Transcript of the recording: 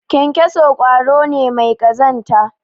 kyankyaso kwaro ne mai kazanta